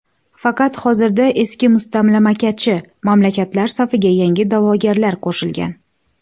Faqat hozirda eski mustamlakachi mamlakatlar safiga yangi da’vogarlar qo‘shilgan.